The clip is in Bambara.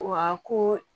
Wa ko